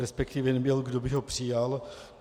Respektive nebyl, kdo by ho přijal.